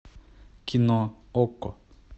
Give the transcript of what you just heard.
кино окко